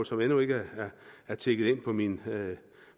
som endnu ikke er tikket ind på min